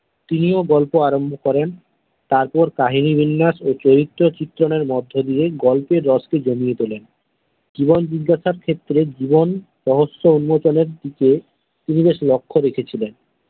তিনিও গল্প আরম্ভ করেন তারপর কাহিনী বিন্যাস ও চরিত্র চিত্রণের মধ্যে দিয়ে গল্পের রসকে জ্বলিয়ে তোলেন জীবন জিজ্ঞাসার ক্ষেত্রে জীবন রহস্য উন্মোচনের দিকে তিনি বেশ লক্ষ্য রেখেছিলেন।